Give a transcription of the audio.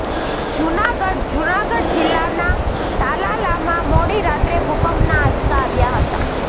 જુનાગઢઃ જુનાગઢ જિલ્લાના તાલાલામાં મોડી રાત્રે ભૂકંપના આંચકા આવ્યા હતા